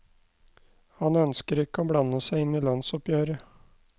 Han ønsker ikke å blande seg inn i lønnsoppgjøret.